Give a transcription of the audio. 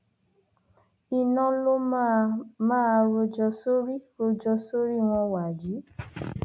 iná ló máa máa rojọ sórí rojọ sórí wọn wàyí